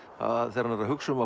þegar hann er að hugsa um